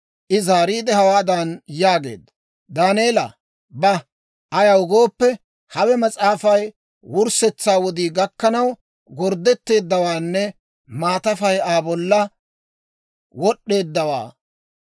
I zaariide, hawaadan yaageedda; «Daaneela, ba. Ayaw gooppe, hawe mas'aafay wurssetsaa wodii gakkanaw gorddetteeddawaanne maatafay Aa bolla wod'd'eeddawaa.